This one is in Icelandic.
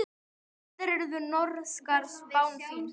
Reyndar er norska spáin fín.